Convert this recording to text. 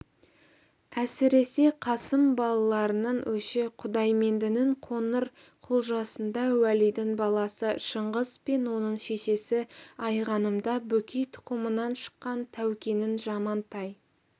әсіресе қасым балаларының өші құдаймендінің қоңырқұлжасында уәлидің баласы шыңғыс пен оның шешесі айғанымда бөкей тұқымынан шыққан тәукенің жамантай